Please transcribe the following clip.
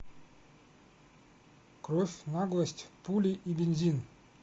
кровь наглость пули и бензин